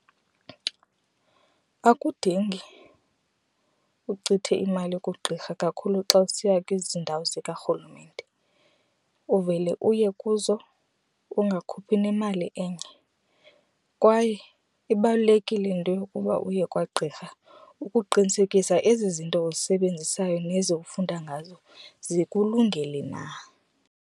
Akudingi uchithe imali kugqirha kakhulu xa usiya kwezi ndawo zikarhulumente, uvele uye kuzo ungakhuphi nemali enye. Kwaye ibalulekile into yokuba uye kwagqirha ukuqinisekisa ezi zinto uzisebenzisayo nezi ufunda ngazo zikulungele na.